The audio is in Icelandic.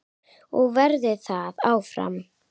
Og verður það áfram.